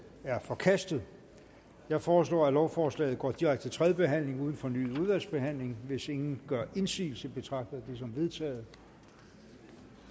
er forkastet jeg foreslår at lovforslaget går direkte til tredje behandling uden fornyet udvalgsbehandling hvis ingen gør indsigelse betragter jeg det som vedtaget